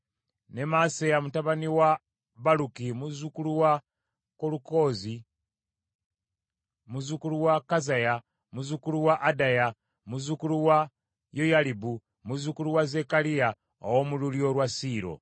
ne Maaseya mutabani wa Baluki, muzzukulu wa Kolukoze, muzzukulu wa Kazaya, muzzukulu wa Adaya, muzzukulu wa Yoyalibu, muzzukulu wa Zekkaliya, ow’omu lulyo lwa Siiro.